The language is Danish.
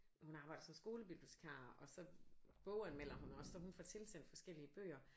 Hun arbejder som skolebibliotekar og så boganmelder hun også så hun får tilsendt forskellige bøger